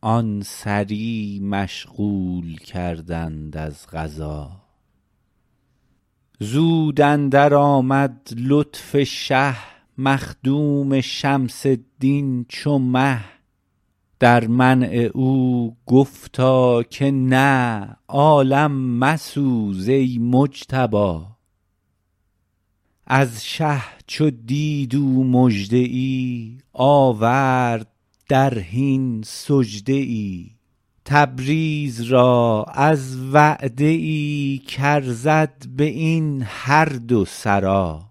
آن سری مشغول کردند از قضا زود اندرآمد لطف شه مخدوم شمس الدین چو مه در منع او گفتا که نه عالم مسوز ای مجتبا از شه چو دید او مژده ای آورد در حین سجده ای تبریز را از وعده ای کارزد به این هر دو سرا